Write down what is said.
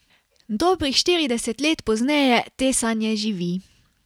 Dobrih štirideset let pozneje te sanje živi.